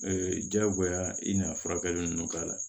jagoya i n'a furakɛli ninnu k'a la